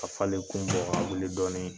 A falen kun bɔ k'a wili dɔɔnin.